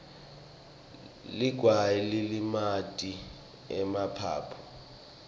ligwayi lilimata emaphaphu